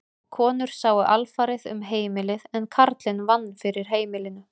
Konur sáu alfarið um heimilið en karlinn vann fyrir heimilinu.